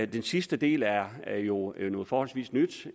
den sidste del er er jo noget forholdsvis nyt